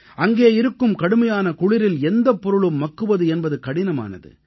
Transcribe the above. அங்கே இருக்கும் கடுமையான குளிரில் எந்தப் பொருளும் மக்குவது என்பது கடினமானது